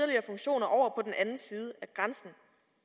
og af grænsen